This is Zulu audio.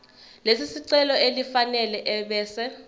lesicelo elifanele ebese